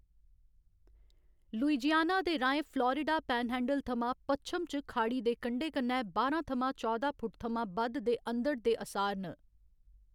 Louisiana दे राहें Florida panhandle थमां पच्छम च खाड़ी दे कंढे कन्नै बाह्‌रां थमां चौदां फुट थमां बद्ध दे अंधड़ दे असार न।